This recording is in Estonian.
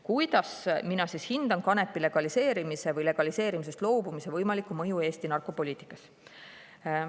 " Kuidas mina hindan kanepi legaliseerimise või legaliseerimisest loobumise võimalikku mõju Eesti narkopoliitikas?